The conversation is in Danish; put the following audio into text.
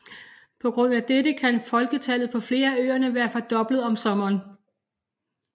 På grund af dette kan folketallet på flere af øerne være fordoblet om sommeren